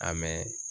A mɛ